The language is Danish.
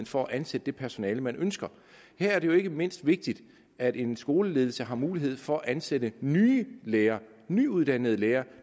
for at ansætte det personale man ønsker her er det jo ikke mindst vigtigt at en skoleledelse har mulighed for at ansætte nye lærere nyuddannede lærere